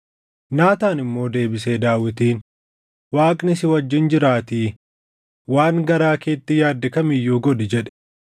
Naataan immoo deebisee Daawitiin, “Waaqni si wajjin jiraatii waan garaa keetti yaadde kam iyyuu godhi” jedhe.